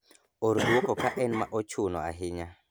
or dwoko ka en ma ochuno ahinya